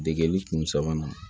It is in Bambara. Degeli kun sabanan